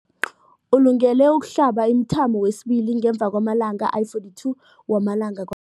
Ulungele ukuhlaba umthamo wesibili ngemva kwama-42 wama langa kwa